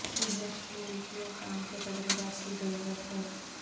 business school کیوں کام کے تجربات کی ضرورت ہے